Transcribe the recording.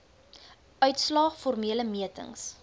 uitslae formele metings